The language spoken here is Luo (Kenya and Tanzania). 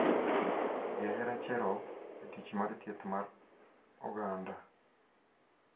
Jahera Cherop, jatich mar thieth mar oganda